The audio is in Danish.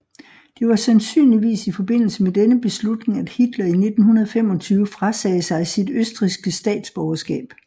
Det var sandsynligvis i forbindelse med denne beslutning at Hitler i 1925 frasagde sig sit østrigske statsborgerskab